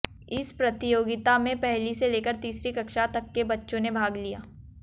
इस प्रतियोगिता में पहली से लेकर तीसरी कक्षा तक के बच्चों ने भाग लिया